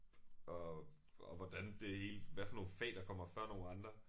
Og og hvordan det hele hvad for nogle fag der kommer før nogle andre